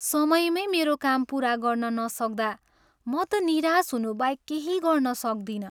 समयमै मेरो काम पुरा गर्न नसक्दा म त निराश हुनुबाहेक केही गर्न सक्दिनँ।